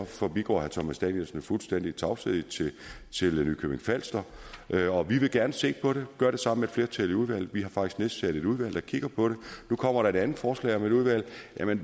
forbigår herre thomas danielsen fuldstændig i tavshed til nykøbing falster og vi vil gerne se på det og gøre det sammen med et flertal i udvalget vi har faktisk nedsat et udvalg der kigger på det nu kommer der et andet forslag om et udvalg